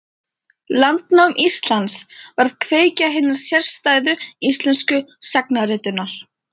Landnám Íslands varð kveikja hinnar sérstæðu íslensku sagnaritunar.